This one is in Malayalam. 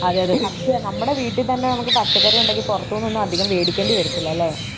അതെയതെ പക്ഷേ, നമ്മടെ വീട്ടിൽ തന്നെ നമുക്ക് പച്ചക്കറി ഉണ്ടെങ്കിൽ പുറത്തൂനൊന്നും അധികം മേടിക്കേണ്ടി വരത്തിലല്ലേ?